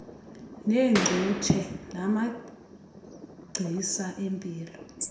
neengcutshe namagcisa empilo